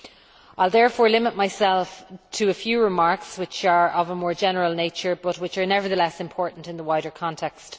I will therefore limit myself to a few remarks which are of a more general nature but which are nevertheless important in the wider context.